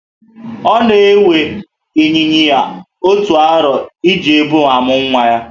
Ona ewe Ịnyịnya Ibu otu arọ e ji bu ma muo nwa ya